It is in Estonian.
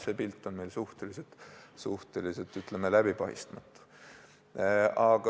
See pilt on meil suhteliselt, ütleme, läbipaistmatu.